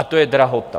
A to je drahota.